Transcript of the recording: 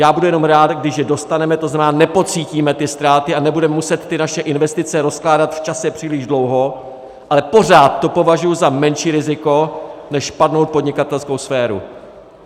Já budu jenom rád, když je dostaneme, to znamená, nepocítíme ty ztráty a nebudeme muset ty naše investice rozkládat v čase příliš dlouho, ale pořád to považuji za menší riziko než padlou podnikatelskou sféru.